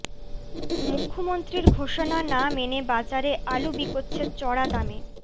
মুখ্যমন্ত্রীর ঘোষণা না মেনে বাজারে আলু বিকোচ্ছে চড়া দামে